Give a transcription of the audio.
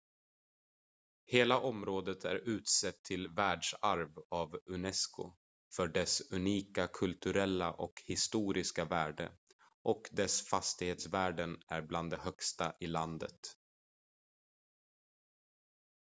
hela området är utsett till världsarv av unesco för dess unika kulturella och historiska värde och dess fastighetsvärden är bland de högsta i landet